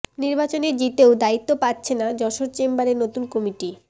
নির্বাচনে জিতেও দায়িত্ব পাচ্ছে না যশোর চেম্বারের নতুন কমিটি